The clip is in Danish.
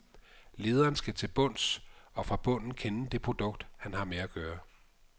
Lederen skal til bunds og fra bunden kende det produkt, han har med at gøre.